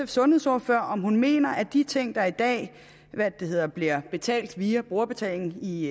sundhedsordfører om hun mener at de ting der i dag bliver betalt via brugerbetaling i